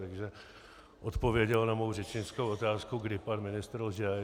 Takže odpověděl na mou řečnickou otázku, kdy pan ministr lže.